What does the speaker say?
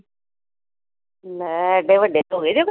ਲੈ ਏਡੇ ਵੱਡੇ ਹੋ ਗਏ ਜੇ।